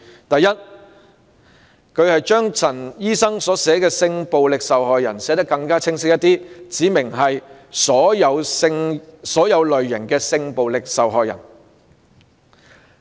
第一，他把陳醫生議案內所載"性暴力受害人"一語寫得更加清晰，指明是"所有類型"的性暴力受害人。